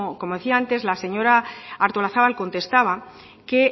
como decía antes la señora artolazabal contestaba que